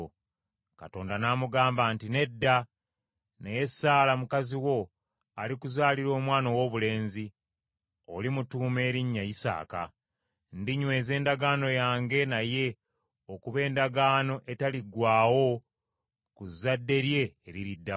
Katonda n’amugamba nti, “Nedda, naye Saala mukazi wo alikuzaalira omwana owoobulenzi, olimutuuma erinnya Isaaka. Ndinyweza endagaano yange naye okuba endagaano etaliggwaawo ku zadde lye eririddawo.